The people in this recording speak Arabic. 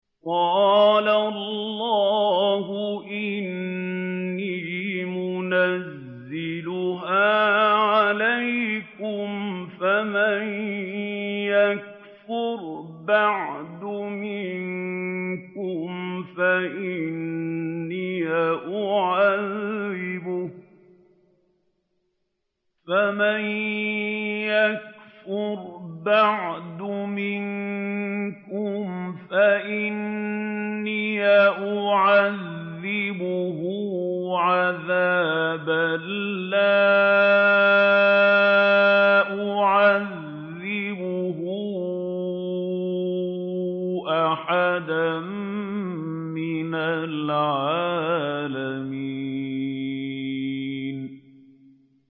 قَالَ اللَّهُ إِنِّي مُنَزِّلُهَا عَلَيْكُمْ ۖ فَمَن يَكْفُرْ بَعْدُ مِنكُمْ فَإِنِّي أُعَذِّبُهُ عَذَابًا لَّا أُعَذِّبُهُ أَحَدًا مِّنَ الْعَالَمِينَ